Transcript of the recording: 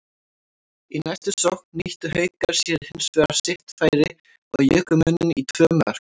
Í næstu sókn nýttu Haukar sér hinsvegar sitt færi og juku muninn í tvö mörk.